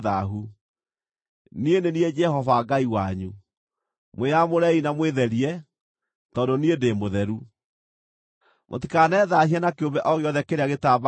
Niĩ nĩ niĩ Jehova Ngai wanyu; mwĩamũrei na mwĩtherie, tondũ niĩ ndĩ mũtheru. Mũtikanethaahie na kĩũmbe o gĩothe kĩrĩa gĩtambaga thĩ.